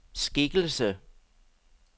skikkelse